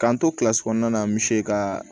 K'an to kɔnɔna na an bɛ se ka